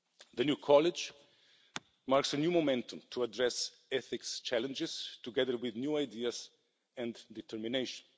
The new College marks a new momentum to address ethical challenges, together with new ideas and determination.